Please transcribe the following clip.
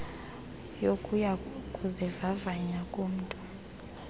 yokuya kuzivavanya komntu